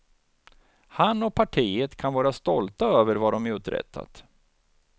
Han och partiet kan vara stolta över vad de uträttat.